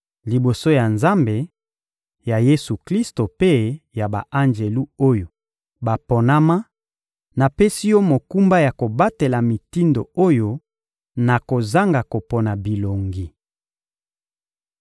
Liboso ya Nzambe, ya Yesu-Klisto mpe ya ba-anjelu oyo baponama, napesi yo mokumba ya kobatela mitindo oyo na kozanga kopona bilongi.